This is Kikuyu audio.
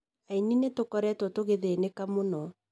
"Aini nitukoretwo tũgithĩnĩka mũno